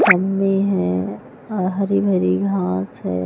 Mummy है हरी भरी घास है।